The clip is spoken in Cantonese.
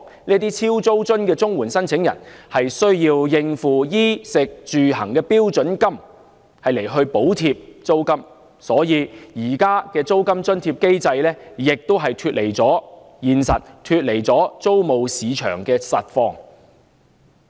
這些"超租津"的領取綜援人士需要以應付衣食住行的標準金額來補貼租金，故此現時的租金津貼機制亦脫離了現實和租務市場的實況。